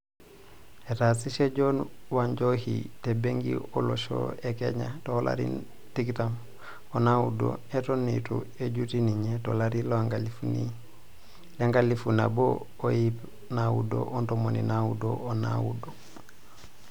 Etaasishe John Wanjohi te benki olosho e Kenya toolarin tikitam onaudo eton eitu ejutii ninye tolari lenkalifu naboo o iip naaudo ontomoni naaudo o naudo.